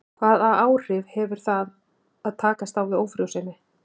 Hvaða áhrif hefur það að takast á við ófrjósemi?